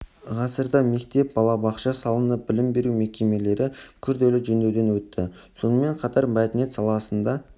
ғасырда мектеп бала бақша салынып білім беру мекемелері күрделі жөндеуден өтті сонымен қатар мәдениет саласында